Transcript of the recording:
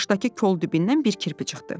Qarşıdakı kol dibindən bir kirpi çıxdı.